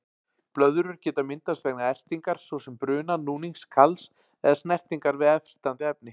Blöðrur geta myndast vegna ertingar, svo sem bruna, núnings, kals eða snertingar við ertandi efni.